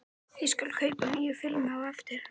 Ég skal kaupa nýja filmu á eftir.